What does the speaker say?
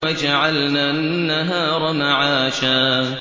وَجَعَلْنَا النَّهَارَ مَعَاشًا